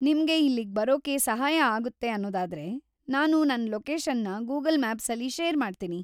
ನಿಮ್ಗೆ ಇಲ್ಲಿಗ್ ಬರೋಕೆ ಸಹಾಯ ಆಗುತ್ತೆ ಅನ್ನೋದಾದ್ರೆ ನಾನು ನನ್‌ ಲೊಕೇಷನ್‌ನ ಗೂಗಲ್‌ ಮ್ಯಾಪ್ಸಲ್ಲಿ ಶೇರ್‌ ಮಾಡ್ತೀನಿ.